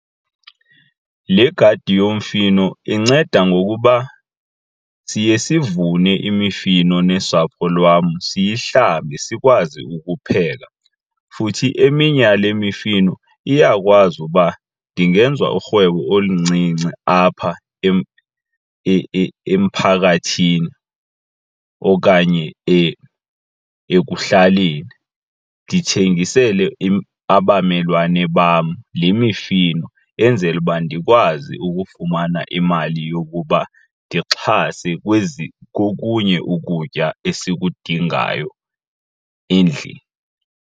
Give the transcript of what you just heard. Le gadi yomfino inceda ngokuba siye sivune imifino nosapho lwam siyihlambe sikwazi ukupheka. Futhi eminye yale mifino iyakwazi uba ndingenza urhwebo oluncinci apha emphakathini okanye ekuhlaleni, ndithengisele abamelwane bam le mifino enzele uba ndikwazi ukufumana imali yokuba ndixhase kokunye ukutya esikudingayo endlini.